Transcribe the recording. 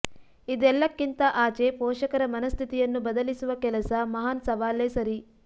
ಇದೆಲ್ಲಕ್ಕಿಂತ ಆಚೆ ಪೋಷಕರ ಮನಃಸ್ಥಿತಿಯನ್ನು ಬದಲಿಸುವ ಕೆಲಸ ಮಹಾನ್ ಸವಾಲೇ ಸರಿ